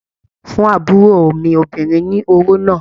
Fún àbúrò mi obìnrin ní owó náà!